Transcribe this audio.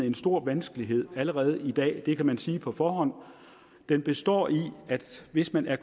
en stor vanskelighed i allerede i dag og det kan man sige på forhånd den består i at hvis man er